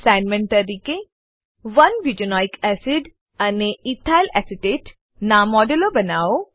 assignment તરીકે 1 butanoic acid અને ethyl acetate નાં મોડેલો બનાવો